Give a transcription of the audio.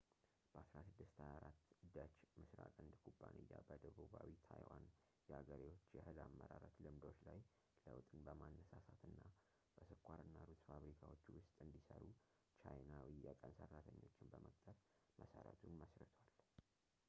በ1624 ደች ምስራቅ ህንድ ኩባንያ በደቡባዊ ታይዋን የአገሬዎች የእህል አመራረት ልምዶች ላይ ለውጥን በማነሳሳትና በስኳር እና ሩዝ ፋብሪካዎቹ ውስጥ እንዲሰሩ ቻይናዊ የቀን ሰራተኞችን በመቅጠር መሰረቱን መስርቷል